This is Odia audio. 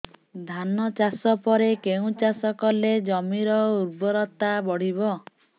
ଧାନ ଚାଷ ପରେ କେଉଁ ଚାଷ କଲେ ଜମିର ଉର୍ବରତା ବଢିବ